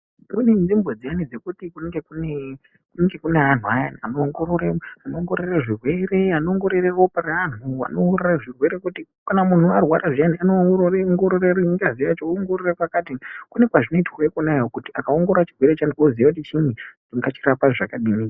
Kune nzvimbo dziyani dzekuti kunenge kune anhu ayani anoongorore anoongorore zvirwere anoongorore ropa reanhu anoongorore zvirwere zvekuti munhu arwara zviyani anoongorore ngazi yacho anoongorore chakati kune kwazvinoitwa ikonayo kuti akaongorore chirwere cheantu oziya kuti tingachirapa zvakadini.